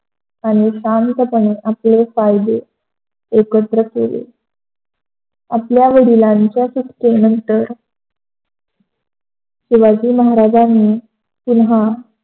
आणि शांतपणे आपले कायदे एकत्र केले. आपल्या वडिलांच्या सुटकेनंतर शिवाजी महाराजानी पुन्हा